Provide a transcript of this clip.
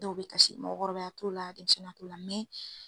Dɔw be taa si mɔgɔkɔrɔbaya t'o la denmisɛn ya t'o la.